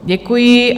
Děkuji.